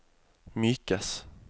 mykes